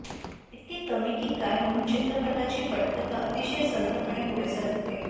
इतके कमी की काय म्हणून चित्रपटाची पटकथा अतिशय संथपणे पुढे सरकते